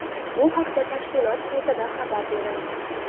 Bu haqda tashkilot saytida xabar berilgan .